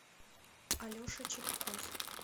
алеша чепков